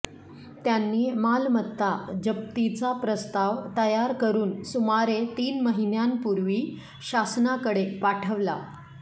त्यांनी मालमत्ता जप्तीचा प्रस्ताव तयार करून सुमारे तीन महिन्यांपूर्वी शासनाकडे पाठवला